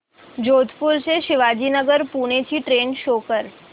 जोधपुर ते शिवाजीनगर पुणे ची train show कर